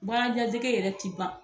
yɛrɛ ti ban.